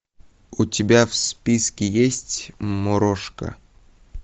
у тебя в списке есть морошка